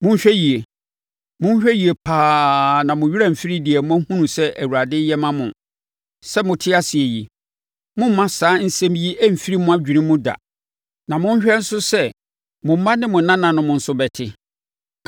Monhwɛ yie! Monhwɛ yie pa ara na mo werɛ amfiri deɛ moahunu sɛ Awurade yɛ ma mo. Sɛ mote ase yi, mommma saa nsɛm yi mfiri mo adwene mu da! Na monhwɛ nso sɛ mo mma ne mo nananom nso bɛte.